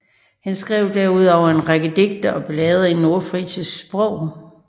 Han skrev derudover en række digte og ballader i nordfrisisk sprog